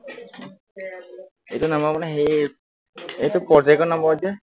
এইটো number মানে হেৰি, এইটো project ৰ number যে